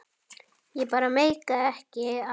Ég bara meikaði ekki að.